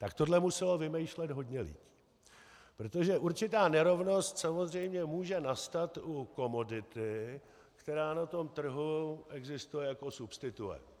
Tak tohle muselo vymýšlet hodně lidí, protože určitá nerovnost samozřejmě může nastat u komodity, která na tom trhu existuje jako substituent.